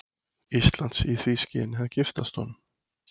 Íslands í því skyni að giftast honum.